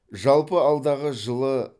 жалпы алдағы жылы